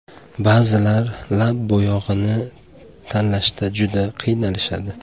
Ba’zilar lab bo‘yog‘ini tanlashda juda qiynalishadi.